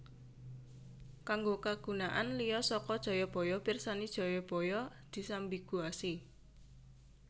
Kanggo kagunaan liya saka Jayabaya pirsani Jayabaya disambiguasi